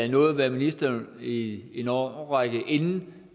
nåede at være minister i en årrække inden